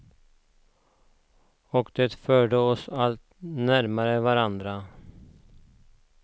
Och det förde oss alla lite närmare varandra.